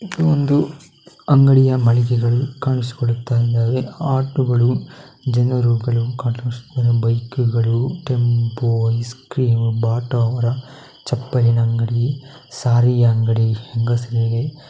ಇದು ಒಂದು ಅಂಗಡಿಯ ಮಳಿಗೆಗಳು ಕಾಣಿಸಿಕೊಳ್ಳುತ್ತಿದ್ದಾವೆ. ಆಟೋಗಳು ಜನರುಗಳು ಬೈಕುಗಳು ಟೆಂಪೋ ಐಸ್ ಕ್ರೀಮ್ ಬಾಟ ಅವರ ಚಪ್ಪಲಿನ ಅಂಗಡಿ ಸಾರಾಯಿ ಅಂಗಡಿ ಹೆಂಗಸರಿಗೆ --